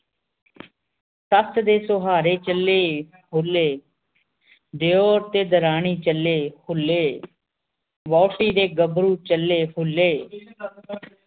ਸੱਸ ਦੇ ਸੁਹਾਰੇ ਚਲੇ ਹੁੱਲੇ, ਦਿਓਰ ਤੇ ਦਰਾਣੀ ਚਲੇ ਹੁੱਲੇ ਵੋਹਟੀ ਦੇ ਗਬਰੂ ਚਲੇ ਹੁੱਲੇ